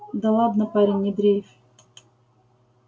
да ладно парень не дрейфь